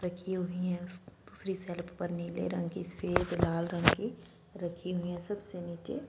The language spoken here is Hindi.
रखी हुई हैं उस दूसरी शेल्फ पर नीले रंग की सफेद लाल रंग की रखी हुई है। सबसे नीचे --